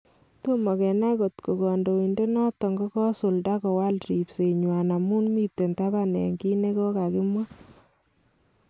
Tomo kenai kotko kadoinata noton kokosulda kowal ripse nywan amun miten taban eng kit nekokakimwa.